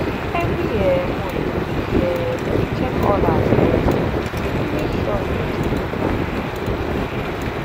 every um month we um dey check all our stored seed to make sure dem still dry and clean